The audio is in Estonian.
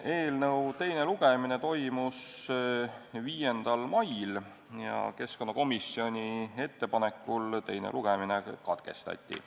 Eelnõu teine lugemine toimus 5. mail ja keskkonnakomisjoni ettepanekul teine lugemine katkestati.